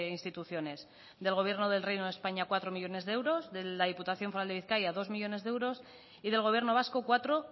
instituciones del gobierno del reino de españa cuatro millónes de euros de la diputación foral de bizkaia dos millónes de euros y del gobierno vasco cuatro